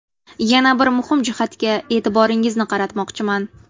Yana bir muhim jihatga e’tiboringizni qaratmoqchiman.